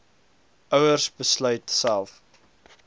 ouers besluit self